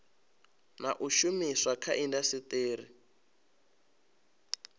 na u shumiswa kha indasiteri